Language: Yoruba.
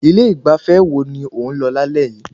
Ilé ìgbafẹ́ wo ni ó ń lọ lálẹ́ yìí?